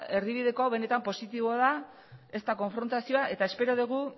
erdibideko hau benetan positiboa da ez da konfrontazioa eta espero dugu